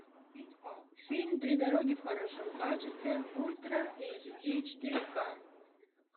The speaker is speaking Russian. фильм три дороги в хорошем качестве ультра эйчди четыре ка